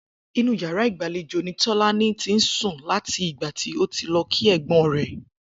Inú yàrá ìgbàlejò ní Tó̩lání ti ń sùn láti ìgbà tí ó lo̩ kí è̩gbó̩n rè̩